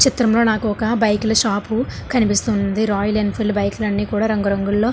ఈ చిత్రంలో నాకు ఒక బైకులు షాపు కనిపిస్తూ ఉంది. రాయల్ ఎన్ఫీల్డ్ బైకులన్నీ రంగురంగుల్ల --